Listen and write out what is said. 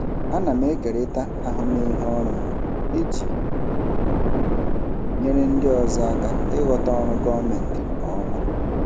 Ana m ekerịta ahụmịhe ọrụ m iji nyere ndị ọzọ aka ịghọta ọrụ gọọmentị nke ọma.